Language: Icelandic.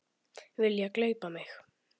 Vilja gleypa mig.